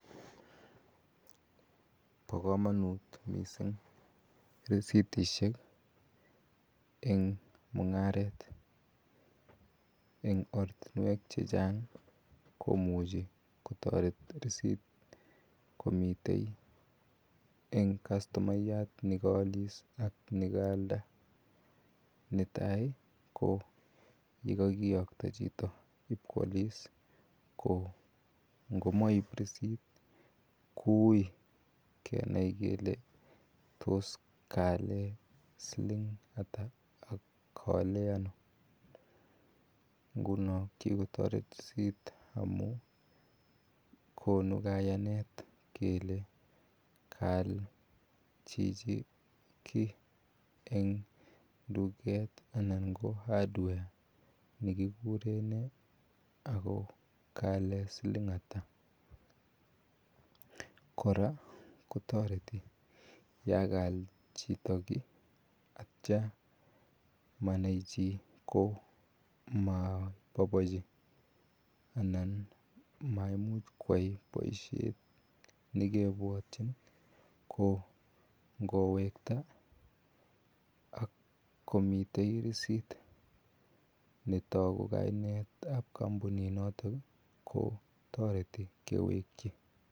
Bo kamanut missing risitisiek eng mungaret eng ortinweek che chaang ii komuchei kotaret risiit komiteen eng customayat nekaalis ak nekaalda netai ii ko ye kakiyaktoi chitoo IP koalis ko ngomaip rissit ko wui kenai kole tos kaalen siliing ata ak kaalen ano nguno ko kikotaret risiit amuun. Konuu kayanet kele kayal chichii kiy eng duket ii anan ko [hardware] nekikuren nee ako kaalen siliing ata kora kotaretii yaan kayal chitoo kiy ak yeityaa manai chii ko mabaibaiji anan maa koyai boisiet nekebwatyin ko ingowektai ak komii miten rsiit netaunen kaibet ab kampunit notoon ko taretii kewekyi.